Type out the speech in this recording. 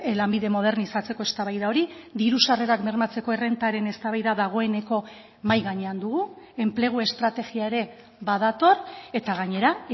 lanbide modernizatzeko eztabaida hori diru sarrerak bermatzeko errentaren eztabaida dagoeneko mahai gainean dugu enplegu estrategia ere badator eta gainera